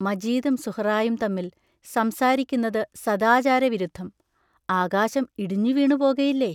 മജീദും സുഹറായും തമ്മിൽ സംസാരിക്കുന്നതു സദാചാരവിരുദ്ധം ആകാശം ഇടിഞ്ഞുവീണുപോകയില്ലേ?